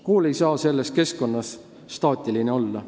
Kool ei saa selles keskkonnas staatiline olla.